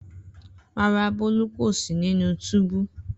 Rara, Bolu ko si ninu tubu.